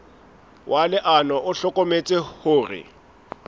wa leano o hlokometse hore